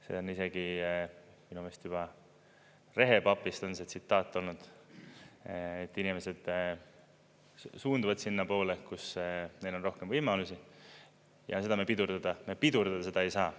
See on isegi minu meelest juba "Rehepapist" see tsitaat olnud, et inimesed suunduvad sinnapoole, kus neil on rohkem võimalusi ja seda me pidurdada ei saa.